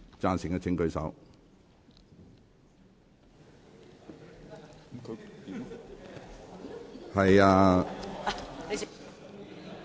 贊成的請舉手。